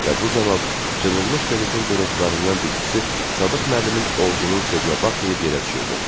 Və bu zaman cırılmış qəzetin qırıntılarından bir ikisi Sadıq müəllimin ovcunun sözünə baxmayıb yerə düşürdü.